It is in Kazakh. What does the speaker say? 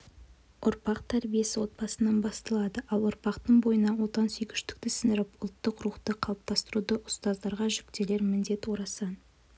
ұрпақ тәрбиесі отбасынан басталады ал ұрпақтың бойына отансүйгіштікті сіңіріп ұлттық рухты қалыптастыруда ұзтаздарға жүктелер міндет орасан